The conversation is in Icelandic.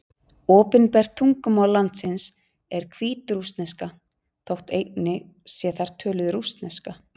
Opinbert tungumál landsins er hvítrússneska, þótt einnig sé þar töluð rússneska.